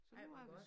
Ej hvor godt